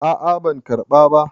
a a ban karɓa ba